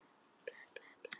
Hélt í annan handlegg hans.